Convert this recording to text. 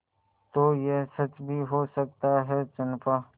तो यह सच भी हो सकता है चंपा